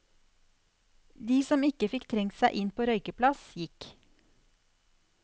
De som ikke fikk trengt seg inn på røykeplass, gikk.